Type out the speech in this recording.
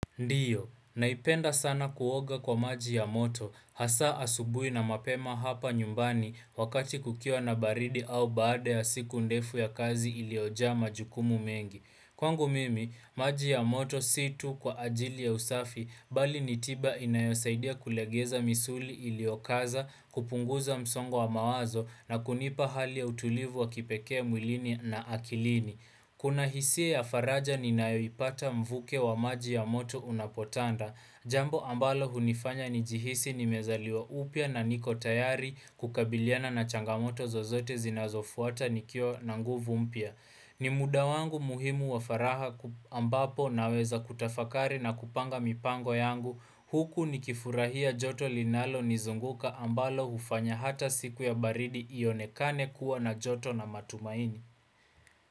Ndiyo, naipenda sana kuoga kwa maji ya moto, hasa asubuhi na mapema hapa nyumbani wakati kukiwa na baridi au baada ya siku ndefu ya kazi iliyoja majukumu mengi. Kwangu mimi, maji ya moto si tu kwa ajili ya usafi, bali nitiba inayosaidia kulegeza misuli iliyokaza, kupunguza msongo wa mawazo na kunipa hali ya utulivu wa kipekee mwilini na akilini. Kuna hisia ya faraja ninayoipata mvuke wa maji ya moto unapotanda. Jambo ambalo hunifanya ni jihisi ni mezaliwa upya na niko tayari kukabiliana na changamoto zozote zinazofuata nikiwa na nguvu mpya. Ni muda wangu muhimu wa faraha ambapo naweza kutafakari na kupanga mipango yangu. Huku ni kifurahia joto linalo nizunguka ambalo hufanya hata siku ya baridi ionekane kuwa na joto na matumaini.